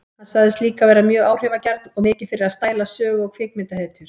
Hann sagðist líka vera mjög áhrifagjarn og mikið fyrir að stæla sögu- og kvikmyndahetjur.